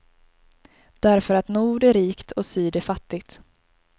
Därför att nord är rikt och syd är fattigt.